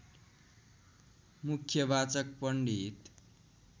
मुख्यवाचक पण्डित